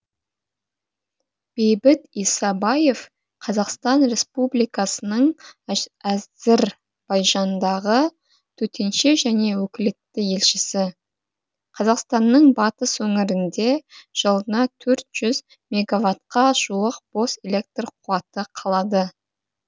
бейбіт исабаев қазақстан республикасының әзірбайжандағы төтенше және өкілетті елшісі қазақстанның батыс өңірінде жылына төрт жүз мегаватқа жуық бос электр қуаты қалады